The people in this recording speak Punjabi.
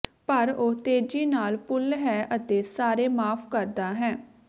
ਪਰ ਉਹ ਤੇਜ਼ੀ ਨਾਲ ਭੁੱਲ ਹੈ ਅਤੇ ਸਾਰੇ ਮਾਫ਼ ਕਰਦਾ ਹੈ